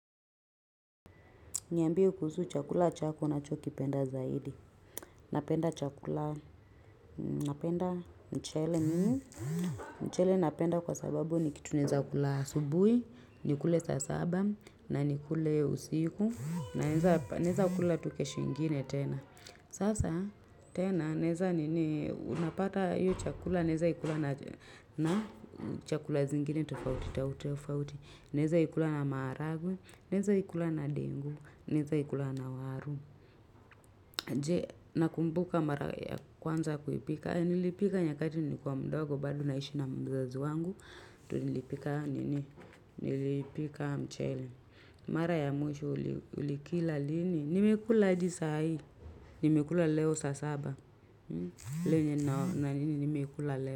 Niambie kuhusu chakula chako unacho kipenda zaidi. Napenda chakula, napenda mchele mimi. Mchele napenda kwa sababu ni kitu nawezakula asubuhi, nikule saa saba, na nikule usiku. Na naweza kula tu kesho ingine tena. Sasa tena, naweza nini, unapata hiyo chakula, naeza ikula na chakula zingine tofauti, tofauti. Naeza ikula na maharagwe, naeza ikula na dengu, naeza ikula na waru. Je, nakumbuka mara ya kwanza kuipika. Nilipika nyakati nilikuwa mdogo bado naishi na mzazi wangu. Tu nilipika nini, nilipika mchele. Mara ya mwisho ulikila lini. Nimekula hadi sahii, nimekula leo saa saba. Lenye na nini nimekula leo.